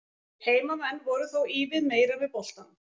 Heimamenn voru þó ívið meira með boltann.